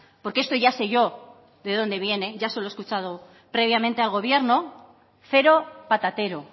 porque esto ya sé yo de dónde viene ya se lo he escuchado previamente al gobierno cero patatero